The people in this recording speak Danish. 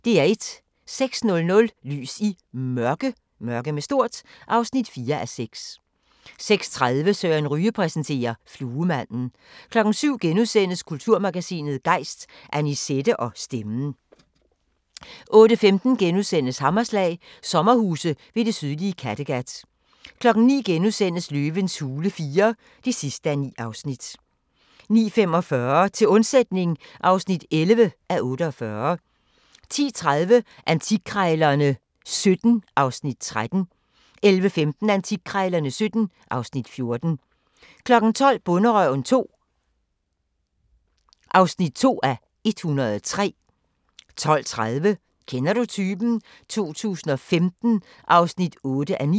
06:00: Lys i Mørke (4:6) 06:30: Søren Ryge præsenterer: Fluemanden 07:00: Kulturmagasinet Gejst: Annisette og stemmen * 08:15: Hammerslag – sommerhuse ved det sydlige Kattegat * 09:00: Løvens hule IV (9:9)* 09:45: Til undsætning (11:48) 10:30: Antikkrejlerne XVII (Afs. 13) 11:15: Antikkrejlerne XVII (Afs. 14) 12:00: Bonderøven (2:103) 12:30: Kender du typen? 2015 (8:9)